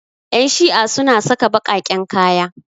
Ƴan shi'a suna saka baƙaƙen kaya.